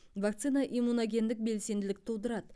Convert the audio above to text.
вакцина иммуногендік белсенділік тудырады